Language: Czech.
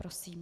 Prosím.